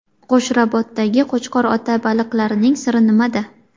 Qo‘shrabotdagi Qo‘chqor ota baliqlarining siri nimada?.